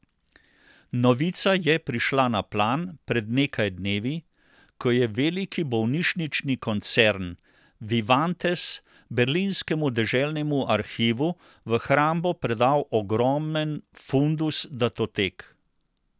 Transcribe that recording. Novica je prišla na plan pred nekaj dnevi, ko je veliki bolnišnični koncern Vivantes berlinskemu deželnemu arhivu v hrambo predal ogromen fundus datotek.